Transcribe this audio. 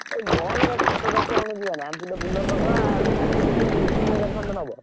ହେ bus ରେ ସାତ ଦଶ ଜଣ ଯିବାନା ଗୋଟେ Bolero କରିଦବା ଉଁ, ତିନ୍ ତିନି ହଜାର ଖଣ୍ଡେ ନବ।